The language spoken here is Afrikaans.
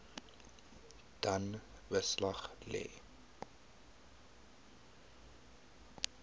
dan beslag lê